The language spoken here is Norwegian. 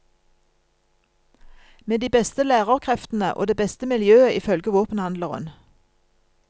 Med de beste lærerkreftene og det beste miljøet ifølge våpenhandleren.